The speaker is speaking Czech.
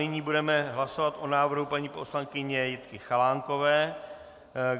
Nyní budeme hlasovat o návrhu paní poslankyně Jitky Chalánkové.